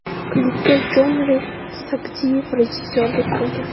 Klipga Jonrid Sagdiyev rejissyorlik qilgan.